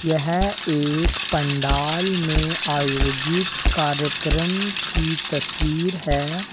यह एक पंडाल में आयोजित कार्यक्रम की तस्वीर है।